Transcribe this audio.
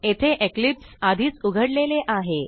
येथे इक्लिप्स आधीच उघडलेले आहे